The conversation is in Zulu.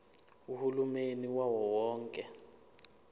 uhulumeni wawo wonke